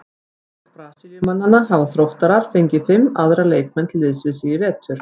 Auk Brasilíumannanna hafa Þróttarar fengið fimm aðra leikmenn til liðs við sig í vetur.